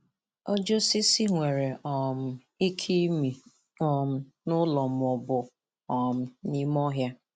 Ọjị osisi nwere um ike ịmị um n'ụlọ ma ọ bụ um n'ime ọhịa.